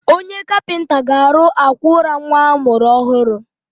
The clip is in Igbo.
Onye kapịnta ga-arụ àkwà ụra nwa a mụrụ ọhụrụ.